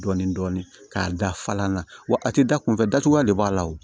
Dɔɔnin dɔɔnin k'a da fa na wa a ti da kunfɛ datugulan de b'a la wo